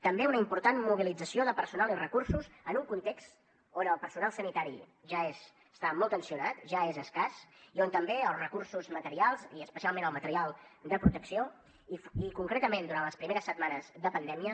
també una important mobilització de personal i recursos en un context on el personal sanitari ja està molt tensionat ja és escàs i on també els recursos materials i especialment el material de protecció i concretament durant les primeres setmanes de pandèmia